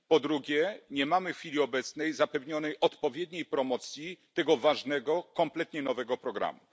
Po drugie, nie mamy w chwili obecnej zapewnionej odpowiedniej promocji tego ważnego kompletnie nowego programu.